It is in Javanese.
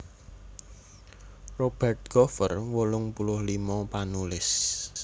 Robert Gover wolung puluh limo panulis